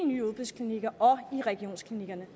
nye udbudsklinikker og i regionsklinikkerne